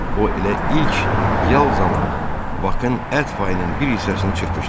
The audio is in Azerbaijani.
O elə ilk yal zamanı Bakın ət payının bir hissəsini çırpışdırdı.